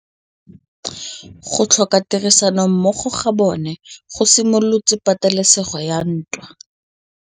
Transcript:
Go tlhoka tirsanommogo ga bone go simolotse patêlêsêgô ya ntwa.